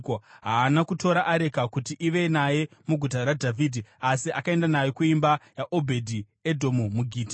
Haana kutora areka kuti ive naye muguta raDhavhidhi. Asi akaenda nayo kuimba yaObhedhi-Edhomu muGiti.